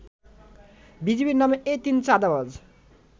বিজিবির নামে এ তিন চাঁদাবাজ